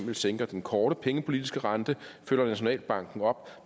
sænker den korte pengepolitiske rente følger nationalbanken op